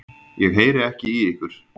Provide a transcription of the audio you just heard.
Ég heyri ekki í ykkur.